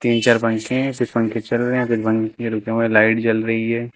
तीन चार पंखे हैं कुछ पंखे चल रहे हैं कुछ बंद ये रुके हुए हैं लाइट जल रही है।